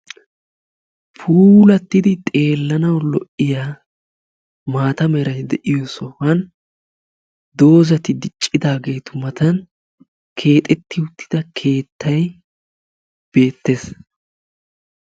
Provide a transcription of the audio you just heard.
Puulattidi xeellanawu lo''iya maata meray de'iyo sohuwan doozzati diccidaageetu matan keexetti uttida keettay beettees.